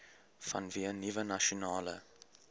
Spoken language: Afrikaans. vanweë nuwe nasionale